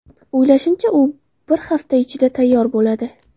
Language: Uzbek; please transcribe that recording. O‘ylashimcha, u bir hafta ichida tayyor bo‘ladi.